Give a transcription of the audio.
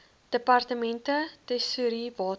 departemente tesourie water